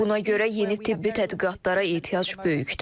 Buna görə yeni tibbi tədqiqatlara ehtiyac böyükdür.